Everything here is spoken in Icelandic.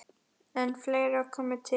En fleira komi til.